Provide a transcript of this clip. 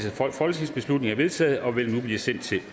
folketingsbeslutning er vedtaget og vil nu blive sendt til